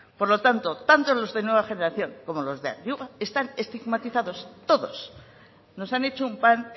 por lo tanto tanto los de nueva generación como los de antigua están estigmatizados todos nos han hecho un pan